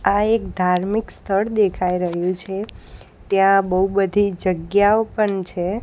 આ એક ધાર્મિક સ્થળ દેખાય રહ્યુ છે ત્યાં બઉ બધી જગ્યાઓ પણ છે.